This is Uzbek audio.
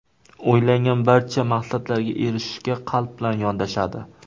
O‘ylangan barcha maqsadlarga erishishga qalb bilan yondashadi.